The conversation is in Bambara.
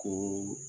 Ko